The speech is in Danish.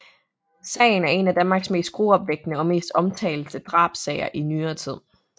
Sagen er en af Danmarks mest gruopvækkende og mest omtalte drabssager i nyere tid